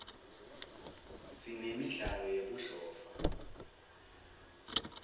sinemidlalo yebudlova